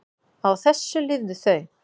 Á þessu lifðu þau.